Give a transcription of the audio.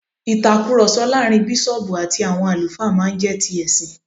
ìtakùròsọ láàrin bísọ̀ọ̀bù àti àwọn àlùfáà má n jé ti ẹ̀sìn